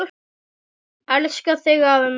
Elska þig afi minn.